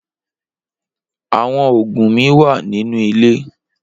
Awọn oogun mi wa ninu ile.